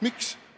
Miks?